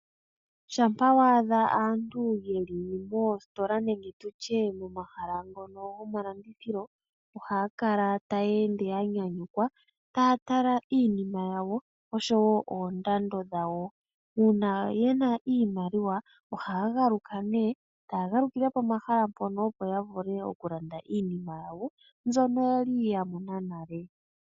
Shampa wa adha aantu yeli moositola nenge tutye momahala ngono goma landithilo ohaya kala taya ende ya nyanyukwa taya tala iinima yawo osho wo oondando dhawo. Uuna yena iimaliwa ohaya galuka nduno, taya galukile pomahala mpono opo yavule oku landa iinima yawo mbyono yali ya mona nale.